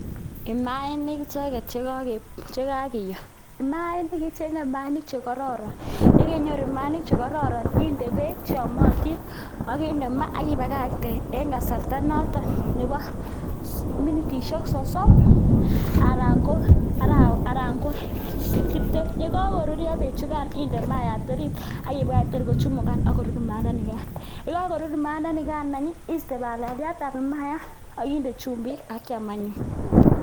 Imaanik icheget che kagiyoo. Imaanik, icheng'e imaanik che kororon, ye keinyoru maainik che kororon inde beek ak inde maa ak ibakakte en kasarta noton nebo minutishek sosom anan ko tibtem. Ye kagoruryo beek chugan inde maayat orit ak ibagach tor kochumugan ak korur maayandanigan, ye kagorur imaayandanigan any ii iiste balaliatab imaayat ak inde chumbik ak kyam anyun.